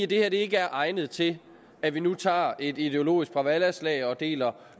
det her ikke er egnet til at vi nu tager et ideologisk bråvallaslag der deler